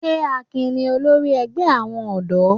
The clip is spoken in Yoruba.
Ṣé Akin ni olórí ẹgbẹ́ àwọn ọ̀dọ́?